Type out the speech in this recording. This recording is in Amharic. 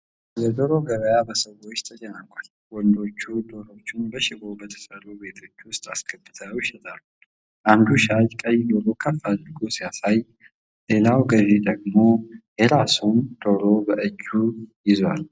የዶሮ ገበያ በሰዎች ተጨናንቋል። ወንዶች ዶሮዎችን በሽቦ በተሠሩ ቤቶች ውስጥ አስገብተው ይሸጣሉ። አንዱ ሻጭ ቀይ ዶሮ ከፍ አድርጎ ሲያሳይ፣ ሌላው ገዢ ደግሞ የራሱን ዶሮ በእጁ ይዟል።